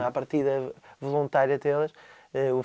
hann bar sigur úr